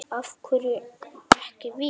Af hverju ekki við?